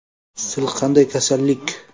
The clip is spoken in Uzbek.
Sil qanday kasallik?